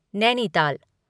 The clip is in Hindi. नैनीताल